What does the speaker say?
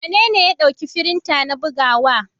Wanene ya ɗauki firinta na bugawa.